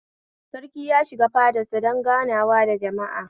Sarki ya shiga fadar sa don ganawa da jama'a